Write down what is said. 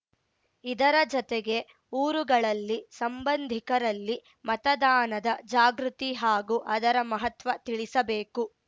ಇದರ ಜತೆಗೆ ಊರುಗಳಲ್ಲಿ ಸಂಬಂಧಿಕರಲ್ಲಿ ಮತದಾನದ ಜಾಗೃತಿ ಹಾಗೂ ಅದರ ಮಹತ್ವ ತಿಳಿಸಬೇಕು